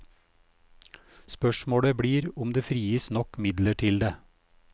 Spørsmålet blir om det frigis nok midler til det.